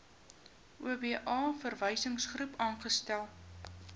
oba verwysingsgroep saamgestel